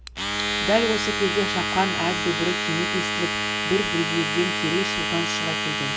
дәл осы кезде шапқан ат дүбірі кенет естіліп бір бүйірден керей сұлтан шыға келген